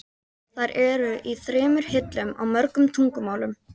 Þær eru í þremur hillum, á mörgum tungumálum.